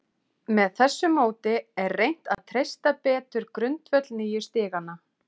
Með þessu móti er reynt að treysta betur grundvöll nýju stiganna.